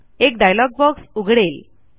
एक dialog box उघडेल